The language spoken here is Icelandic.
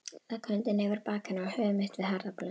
Legg höndina yfir bak hennar og höfuð mitt við herðablöðin.